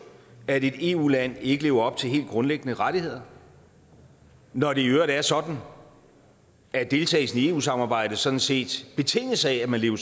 at et eu land ikke lever op til helt grundlæggende rettigheder når det i øvrigt er sådan at deltagelsen i eu samarbejdet sådan set betinges af at man lever